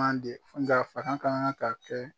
Manje n dɛ an fanga ka kan ka kɛ